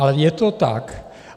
Ale je to tak.